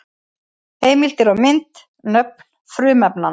Heimildir og mynd: Nöfn frumefnanna.